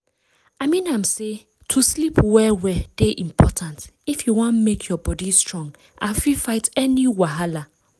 i mean am say to sleep well well dey important if you wan make your body strong and fit fight any wahala